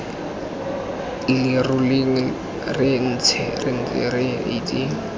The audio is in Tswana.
leroleng re ntse re itse